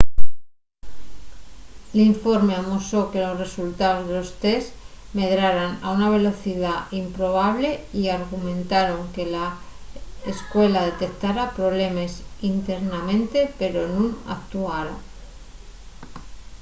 l’informe amosó que los resultaos de los test medraran a una velocidá improbable y argumentaron que la escuela detectara problemes internamente pero nun actuara